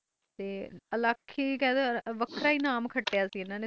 ਇਕਲਾਗ ਹੀ ਨਾਮ ਕਤਾ ਸੇ ਹਨ ਨੇ